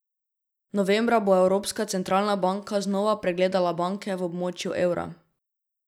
Novembra bo Evropska centralna banka znova pregledala banke v območju evra.